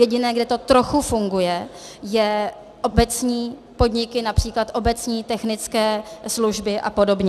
Jediné, kde to trochu funguje, jsou obecní podniky, například obecní technické služby a podobně.